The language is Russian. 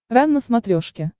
рен на смотрешке